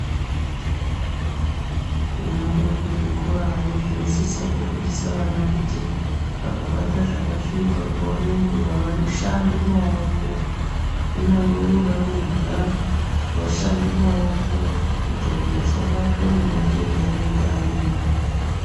Kunyambori kuzvikorayo inosisa kufundisa vana kuti vakabata zvakasvipa nguva nenguva vashande maoko. Kunyangwe voda kurya voshambe maoko kuitira kuti asabatwa ngematenda anenge ariyo.